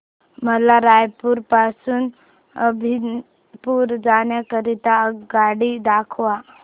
मला रायपुर पासून अभनपुर जाण्या करीता आगगाडी दाखवा